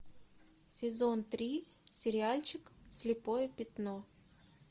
сезон три сериальчик слепое пятно